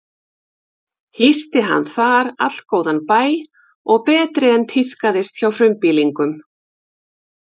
Hýsti hann þar allgóðan bæ og betri en tíðkaðist hjá frumbýlingum.